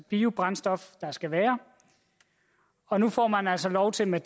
biobrændstof der skal være og nu får man altså lov til med